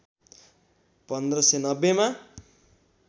१५९० मा